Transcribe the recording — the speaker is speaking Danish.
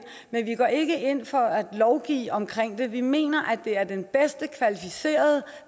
men vi går ikke ind for at lovgive om det vi mener at det er den bedst kvalificerede